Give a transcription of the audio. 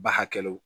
Ba hakɛlo